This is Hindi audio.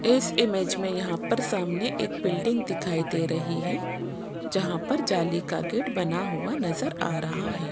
इस इमेज में यहां पर सामने एक बिल्डिंग दिखाई दे रही है जहां पर जाली का गेट बना हुआ नजर आ रहा हैं।